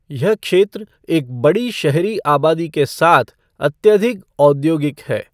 यह क्षेत्र एक बड़ी शहरी आबादी के साथ, अत्यधिक औद्योगिक है।